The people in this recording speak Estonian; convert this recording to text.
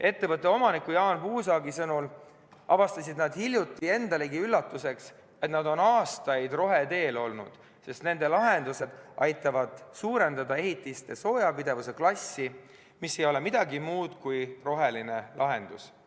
Ettevõtte omaniku Jaan Puusaagi sõnul avastasid nad hiljuti endalegi üllatuseks, et nad on aastaid roheteel olnud, sest nende lahendused aitavad suurendada ehitiste soojapidavuse klassi, mis ei ole midagi muud kui roheline lahendus.